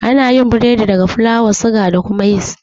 Anayin biredi daga fulawa, suga, da yis